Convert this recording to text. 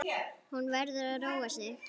Hún verður að róa sig.